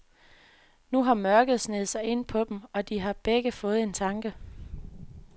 Nu har mørket sneget sig ind på dem, og de har begge fået en tanke.